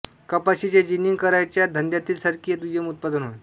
कपाशीचे जिनिंग करायच्या धंद्यातील सरकी हे दुय्यम उत्पादन होय